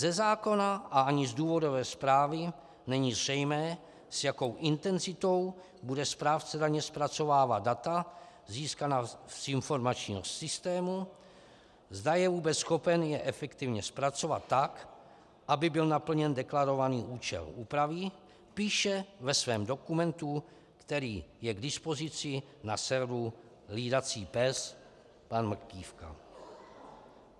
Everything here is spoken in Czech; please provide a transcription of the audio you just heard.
Ze zákona a ani z důvodové zprávy není zřejmé, s jakou intenzitou bude správce daně zpracovávat data získaná z informačního systému, zda je vůbec schopen je efektivně zpracovat tak, aby byl naplněn deklarovaný účel úpravy, píše ve svém dokumentu, který je k dispozici na serveru Hlídací pes, pan Mrkývka.